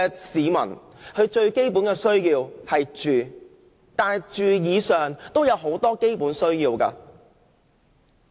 市民最基本的需要是住，但在住以外，其實還有很多基本需要。